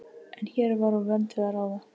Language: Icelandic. En hér var úr vöndu að ráða.